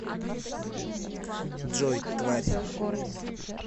джой тварь